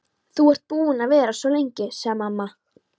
Þú ert búin að vera svo lengi, sagði mamma.